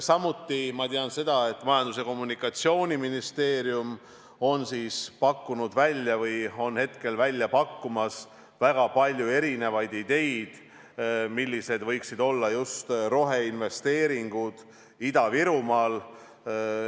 Samuti tean ma seda, et Majandus- ja Kommunikatsiooniministeerium on välja pakkumas väga palju ideid, millised võiksid olla just roheinvesteeringud Ida-Virumaal.